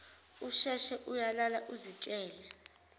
usheshe uyalala uzitshele